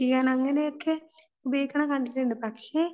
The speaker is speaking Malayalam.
എത്തിക്കാൻ അങ്ങനെയൊക്കെ ഉപയോഗിക്കുന്നത് കണ്ടിട്ടുണ്ട് പക്ഷേ